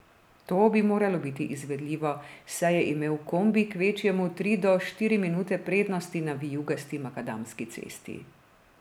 To bi moralo biti izvedljivo, saj je imel kombi kvečjemu tri do štiri minute prednosti na vijugasti makadamski cesti.